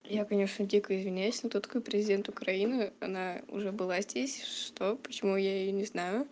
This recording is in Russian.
я конечно дико извиняюсь но кто такой президент украины она уже была здесь что почему я её не знаю